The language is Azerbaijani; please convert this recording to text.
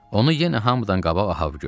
Onu yenə hamıdan qabaq Ahab gördü.